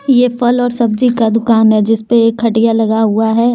ये फल और सब्जी का दुकान है जिसपे एक खटिया लगा हुआ है।